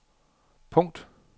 punkt